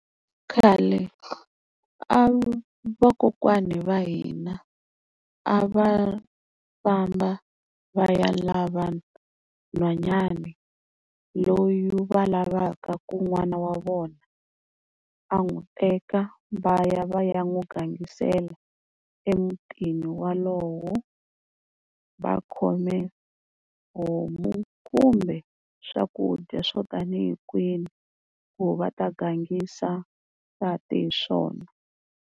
Khale a vakokwani va hina a va famba va ya lava n'hwanyani loyi va lavaku ku n'wana wa vona a n'wi teka. Va ya va ya n'wi gangisela emutini walowo va khome homu kumbe swakudya swo tanihi kwini, ku va ta gangisa nsati hi swona.